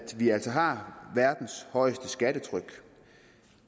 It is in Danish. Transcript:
vi altså har verdens højeste skattetryk